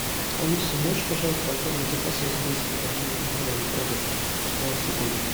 алиса можешь пожалуйста оформить заказ я забыл себе домой на дом продукты свеклу